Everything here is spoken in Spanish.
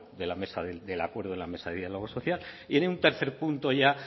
del acuerdo de la mesa de diálogo social y en un tercer punto ya